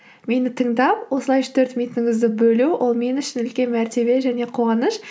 мені тыңдап осылай үш төрт минутыңызды бөлу ол мен үшін үлкен мәртебе және қуаныш